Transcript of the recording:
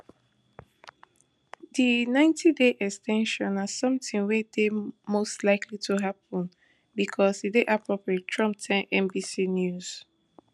di ninetyday ex ten sion na somtin wey dey most likely to happun becos e dey appropriate trump tell nbc news